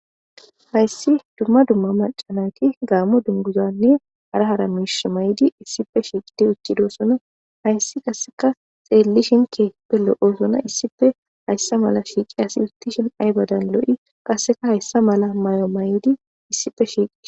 hayssi dumma dumma macananti gaamo dunguzanne ara hara miish may7di issife shiiqidi ucidossona hayssi kasseka xeellishinkeepe lo7osona issife hayssa mala shiiqi asi uttishin ay badan lo7i kasseka hayssa mala may7o may7odi issipe shiiqii